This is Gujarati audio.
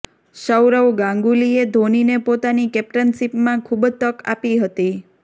સૌરવ ગાંગુલીએ ધોનીને પોતાની કેપ્ટનશીપમાં ખૂબ તક આપી હતી